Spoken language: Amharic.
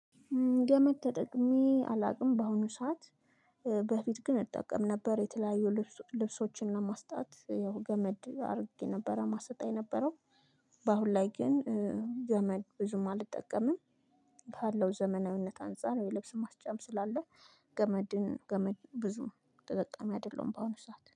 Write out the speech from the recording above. ገመድ ተጠቅሜ አላውቅም በአሁኑ ሰዓት በፊት ግን እጠቀም ነበር የተለያዩ ልብሶችን ለማስጣት ያው ገመድ አድርጌ ነበረ ማሰጣ የነበረው። በአሁን ላይ ግን ገመድ ብዙም አልጠቀምም። ካለው ዘመናዊነት አንፃር የልብስ ማስጫም ስላለ ገመድን ገመድ ብዙም ተጠቃሚ አይደለሁም በአሁኑ ሰዓት